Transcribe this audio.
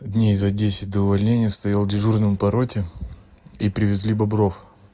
дней за десять до увольнения стоял дежурным по роте и привезли бобров